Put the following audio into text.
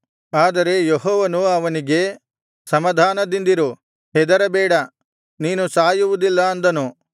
ಆದರೆ ಯೆಹೋವನು ಅವನಿಗೆ ಸಮಾಧಾನದಿಂದಿರು ಹೆದರಬೇಡ ನೀನು ಸಾಯುವುದಿಲ್ಲ ಅಂದನು